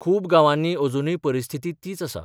खूब गांवांनी अजुनूय परिस्थिती तीच आसा.